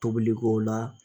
Tobiliko la